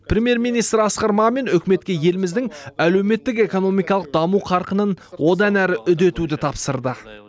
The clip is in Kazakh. премьер министр асқар мамин үкіметке еліміздің әлеуметтік экономикалық даму қарқынын одан әрі үдетуді тапсырды